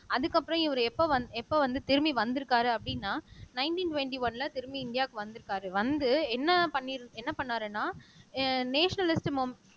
அதுக்கப்புறம் இவரு எப்ப வந் எப்ப வந்து திரும்பி வந்திருக்காரு அப்படின்னா நைன்டீன் டுவெண்ட்டி ஒன்ல திரும்பி இந்தியாவுக்கு வந்திருக்காரு வந்து என்ன என்ன பண்ணி பண்ணாருன்னா நேஷனலிஸம்